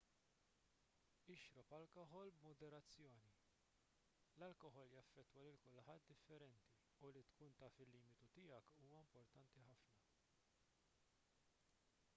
ixrob alkoħol b'moderazzjoni l-alkoħol jaffettwa lil kulħadd differenti u li tkun taf il-limitu tiegħek huwa importanti ħafna